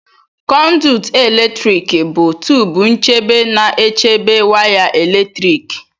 Conduit eletrik bụ tubu nchebe na-echebe waya eletrik.